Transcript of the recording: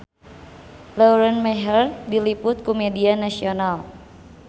Lauren Maher diliput ku media nasional